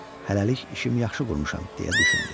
Hələlik işimi yaxşı qurmuşam, deyə düşündü.